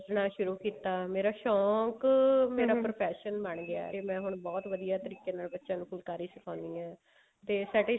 ਸਿਖਣਾ ਸ਼ੁਰੂ ਕੀਤਾ ਸ਼ੋਂਕ profession ਬਣਾ ਗਿਆ ਤੇ ਮੈਂ ਹੁਣ ਬਹੁਤ ਵਧੀਆ ਤਰੀਕੇ ਨਾਲ ਬੱਚਿਆਂ ਨੂੰ ਫੁਲਾਕਰੀ ਸੁਖਾਉਂਦੀ ਹਾਂ ਤੇ ਸਾਡੀ